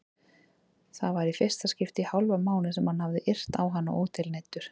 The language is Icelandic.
Það var í fyrsta skipti í hálfan mánuð sem hann hafði yrt á hana ótilneyddur.